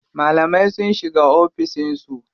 Malamai sun shiga oficin su.